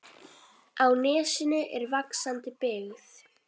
Á nesinu er vaxandi byggð.